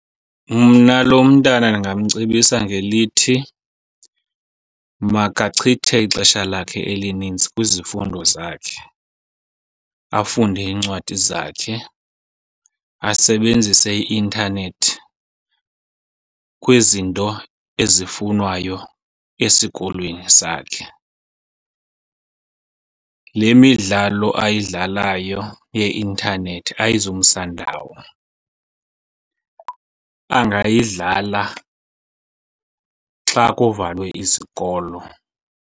Mna lo mntana ndingamcebisa ngelithi makachithe ixesha lakhe elininzi kwizifundo zakhe, afunde iincwadi zakhe, asebenzise i-intanethi kwizinto ezifunwayo esikolweni sakhe. Le midlalo ayidlalayo yeintanethi ayizumsa ndawo, angayidlala xa kuvalwe izikolo.